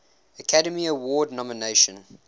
academy award nomination